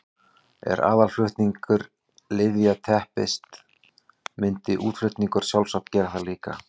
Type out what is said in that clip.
Ef aðflutningur lyfja teppist myndi útflutningur sjálfsagt gera það líka.